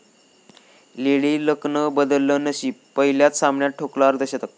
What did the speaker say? lady लकने बदललं नशीब, पहिल्याच सामन्यात ठोकले अर्धशतक